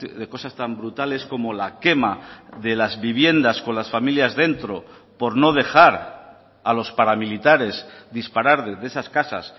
de cosas tan brutales como la quema de las viviendas con las familias dentro por no dejar a los paramilitares disparar desde esas casas